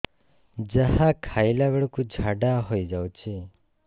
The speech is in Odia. ଯାହା ଖାଇଲା ବେଳକୁ ଝାଡ଼ା ହୋଇ ଯାଉଛି